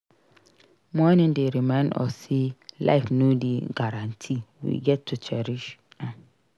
Mourning dey remind us say life no dey guarantee; we gats cherish am.